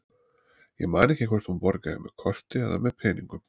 Ég man ekki hvort hún borgaði með korti eða með peningum.